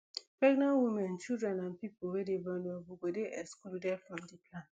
pregnant women children and pipo wey dey vulnerable go dey excluded from di plan